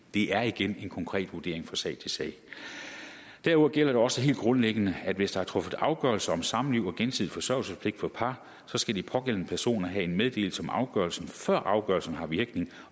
det er igen en konkret vurdering fra sag til sag derudover gælder det også helt grundlæggende at hvis der er truffet afgørelse om samliv og gensidig forsørgelsespligt for par skal de pågældende personer have en meddelelse om afgørelsen før afgørelsen har virkning